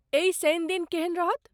एहि शनि दिन केहन रहत?